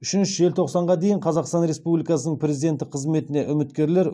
үшінші желтоқсанға дейін қазақстан республикасының президенті қызметіне үміткерлер